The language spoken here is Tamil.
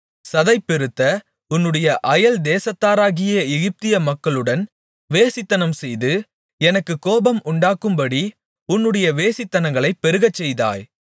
சதை பெருத்த உன்னுடைய அயல் தேசத்தாராகிய எகிப்திய மக்களுடன் வேசித்தனம்செய்து எனக்குக் கோபம் உண்டாக்கும்படி உன்னுடைய வேசித்தனங்களைப் பெருகச்செய்தாய்